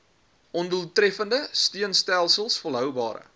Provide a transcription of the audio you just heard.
ondoeltreffende steunstelsels volhoubare